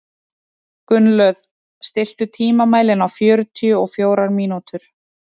Gunnlöð, stilltu tímamælinn á fjörutíu og fjórar mínútur.